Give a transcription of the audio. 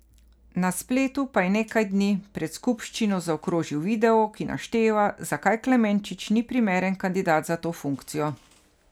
Na spletu pa je nekaj dni pred skupščino zakrožil video, ki našteva, zakaj Klemenčič ni primeren kandidat za to funkcijo.